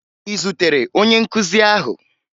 Ị zutere onye nkuzi ahụ?